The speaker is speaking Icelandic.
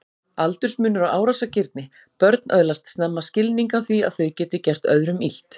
Aldursmunur á árásargirni Börn öðlast snemma skilning á því að þau geti gert öðrum illt.